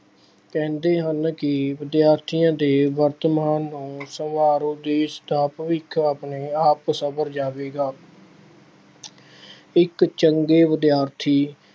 ਕਹਿੰਦੇ ਹਨ ਕਿ ਵਿਦਿਆਰਥੀਆਂ ਦੇ ਵਰਤਮਾਨ ਨੂੰ ਸੰਵਾਰੋ, ਦੇਸ਼ ਦਾ ਭਵਿੱਖ ਆਪਣੇ ਆਪ ਸੰਵਰ ਜਾਵੇਗਾ। ਇੱਕ ਚੰਗੇ ਵਿਦਿਆਰਥੀ